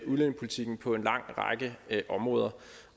udlændingepolitikken på en lang række områder